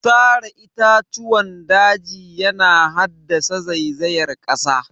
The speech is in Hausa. Sare itatuwan daji yana haddasa zaizayar ƙasa